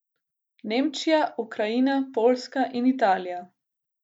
Nemčija, Ukrajina, Poljska in Italija.